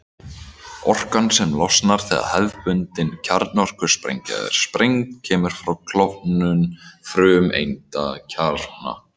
Orkan sem losnar þegar hefðbundin kjarnorkusprengja er sprengd kemur frá klofnun frumeindakjarna.